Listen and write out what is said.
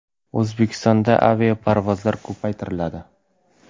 O‘zbekistonga aviaparvozlar ko‘paytiriladi.